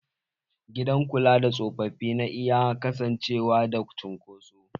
Gidan kula da tsofaffi na iya kasancewa da cunkoso.